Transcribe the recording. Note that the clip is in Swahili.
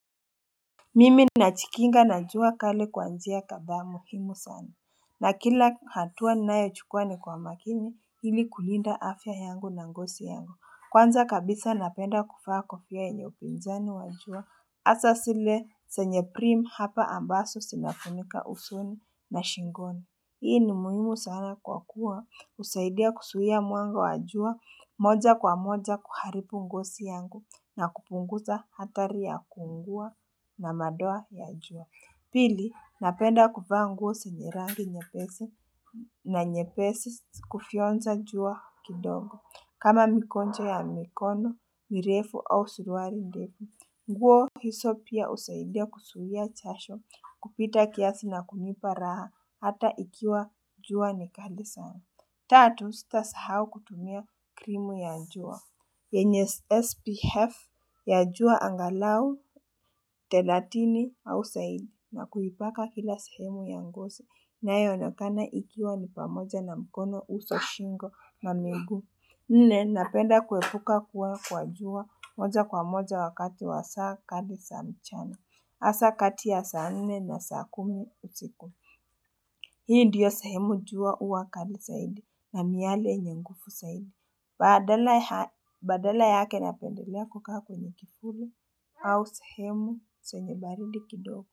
Mimi na chikinga na jua kale kuanzia njia kabamwe himusom na kila hatua nae chukuane ni kwa makini ili kulinda afya yangu na ngosi yangu Kwanza kabisa napenda kufaa kofya yenye upinzani wa jua hasa sile zenye prim hapa ambaso sinafunika husuni na shingoni Hii ni muhimu sana kwa kuwa husaidia kusuia mwanga wa jua moja kwa moja kuharibu ngosi yangu na kupunguza hatari ya kuungua na madoa ya jua. Pili, napenda kuvaa nguo senye rangi nyepesi na nyepesi kufionza jua kidongo kama mikoncho ya mikono, mirefu au suruali ndefu. Nguo hiso pia husaidia kusuhia chasho, kupita kiasi na kunipa raha, hata ikiwa jua ni kali sana. Tatu, sitasahau kutumia krimu ya jua. Yenye SPF ya jua angalau, thelatini, au saidi. Na kuhipaka kila sahemu ya ngosi. Nayo onekana ikiwa ni pamoja na mkono uso shingo na miguu. Nne napenda kuepuka kuwa kwa jua moja kwa moja wakati wa saa kali saa mchana. Hasa kati ya saa nne na saa kumi usiku. Hii ndiyo sahemu jua huwa kali saidi na miale nyenye nguvu saidi. Badala yake napendelea kukaa kwenye kifuli au sahemu senye baridi kidogo.